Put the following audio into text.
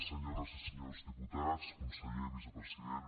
senyores i senyors diputats conseller vicepresident